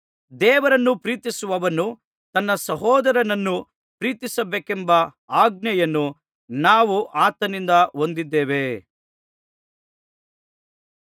ದೇವರನ್ನು ಪ್ರೀತಿಸುವವನು ತನ್ನ ಸಹೋದರನನ್ನೂ ಪ್ರೀತಿಸಬೇಕೆಂಬ ಆಜ್ಞೆಯನ್ನು ನಾವು ಆತನಿಂದ ಹೊಂದಿದ್ದೇವೆ